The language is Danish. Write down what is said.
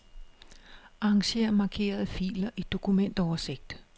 Arranger markerede filer i dokumentoversigt.